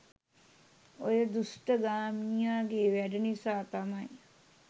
ඔය දුෂ්ඨ ගාමිණියගෙ වැඩ නිසා තමයි